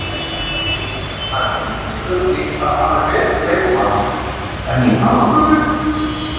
Það er engin spurning að hann er betri leikmaður, enn í alvöru?